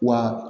Wa